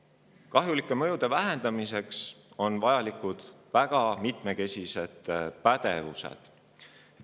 Kliimamuutuste kahjulike mõjude vähendamiseks on vajalikud väga mitmekesised pädevused.